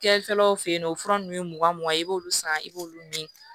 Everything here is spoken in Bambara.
Kɛrɛfɛlaw fɛ yen nɔ o fura ninnu ye mugan mugan ye i b'olu san i b'olu min